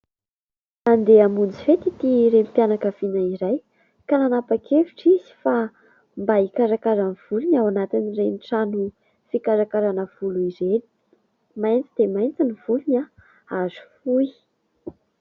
Handeha hamonjy fety ity renim-pianakaviana iray ka nanapa-kevitra izy fa mba hikarakara ny volony ao anatin'ireny trano fikarakarana volo ireny ; mainty dia mainty ny volony ary fohy.